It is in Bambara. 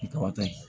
Tɔbɔtɔ ye